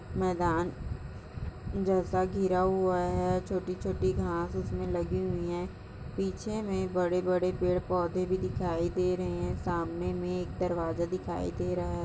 मैदान जैसा घिरा हुआ है छोटी-छोटी घास इसमे लगी हुई है पीछे मे बड़े-बड़े पैड़ -पोधे भी दिखाई दे रहे है सामने मे एक दरवाजा दिखाई दे रहा हैं। .